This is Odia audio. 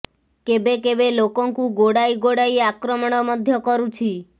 କେବେ କେବେ ଲୋକଙ୍କୁ ଗୋଡ଼ାଇ ଗୋଡ଼ାଇ ଆକ୍ରମଣ ମଧ୍ୟ କରୁଛି